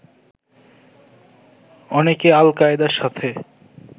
অনেকে আল কায়দার সাথে